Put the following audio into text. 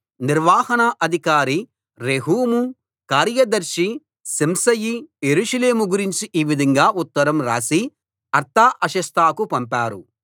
నిర్వహణ అధికారి రెహూము కార్యదర్శి షిమ్షయి యెరూషలేము గురించి ఈ విధంగా ఉత్తరం రాసి అర్తహషస్తకు పంపారు